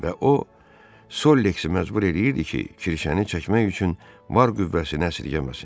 Və o sol leksi məcbur eləyirdi ki, kirşəni çəkmək üçün var qüvvəsini əsirgəməsin.